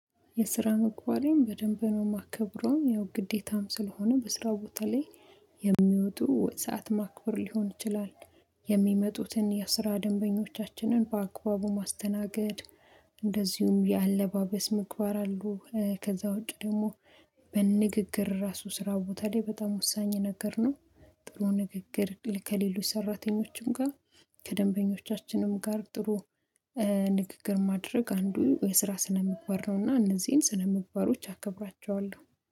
የስራ ምግባሬን በደንብ ነው የማከብረው ያው ግዴታም ስለሆነ በስራው ቦታ ላይ የሚወጡ ወጥ ሰዓት ማክበር ሊሆን ይችላል። የሚመጡትን የስራ ደንበኞቻችንን በአካባቡ ማስተናገድ። እንደዚሁም የአለባበስ ምግባር አሉ ከዛ ውጪ ደግሞ በንግግር ራሱ ስራ ቦታ ላይ በጣም ወሳኝ ነገር ነው። ጥሩ ንግግር ከሌሎች ሰራተኞችም ጋር ከደንበኞቻችንም ጋር ጥሩ ንግግር ማድረግ አንዱ የስራ ስነምባር ነውና እነዚህን ስነምባሮች አከብራቸዋለሁ